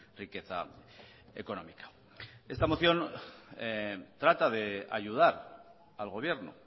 riqueza económica esta moción trata de ayudar al gobierno